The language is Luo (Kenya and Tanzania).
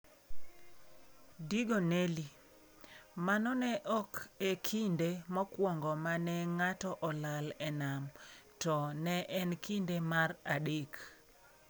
Digo Nelly: Mano ne ok e kinde mokwongo ma ne ng'ato olal e nam, to ne en kinde mar adek